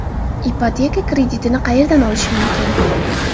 Ipoteka kreditini qayerdan olish mumkin?